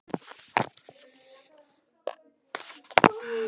Hvernig fannst þér ég standa mig áðan?